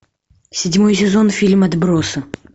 седьмой сезон фильм отбросы